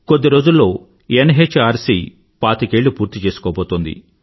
కొద్ది రోజుల్లో ఎన్ఎచ్ఆర్సీ పాతికేళ్ళు పూర్తిచేసుకోబోతోంది